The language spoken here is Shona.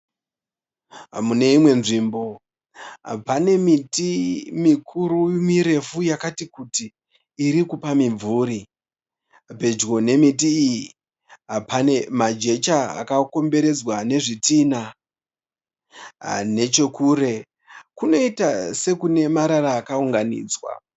Muneimwe nzvimbo, pane miti mikuru mirefu yakati kuti irikupa mimvuri. Pedyo nemiti iyi pane majecha akakomberedzwa nezvitina. Nechekure, kunoita sekune marara akawunganidzwa.